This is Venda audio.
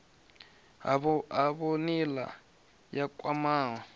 havho nga nila yo khwahaho